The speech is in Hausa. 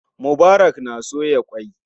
Mubarak na soya ƙwai.